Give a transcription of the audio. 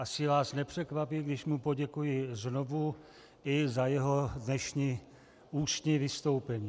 Asi vás nepřekvapí, když mu poděkuji znovu i za jeho dnešní ústní vystoupení.